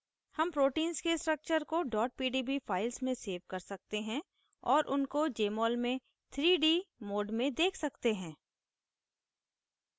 हम proteins के structures को pdb files में सेव कर सकते हैं और उनको jmol में 3d mode में देख सकते हैं